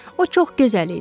O, çox gözəl idi.